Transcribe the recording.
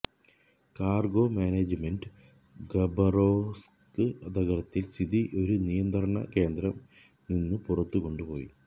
cargo management Khabarovsk നഗരത്തിൽ സ്ഥിതി ഒരു നിയന്ത്രണ കേന്ദ്രം നിന്നു പുറത്തു കൊണ്ടുപോയി